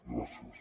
gràcies